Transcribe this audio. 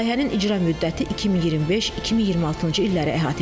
Layihənin icra müddəti 2025-2026-cı illəri əhatə edəcək.